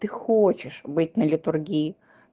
ты хочешь быть на литургии